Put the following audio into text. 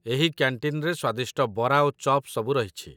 ଏହି କ‍୍ୟାଣ୍ଟିନ୍‌ରେ ସ୍ୱାଦିଷ୍ଟ ବରା ଓ ଚପ୍‌ ସବୁ ରହିଛି